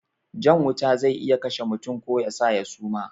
Jan wuta zai iya kashe mutum ko yasa ya suma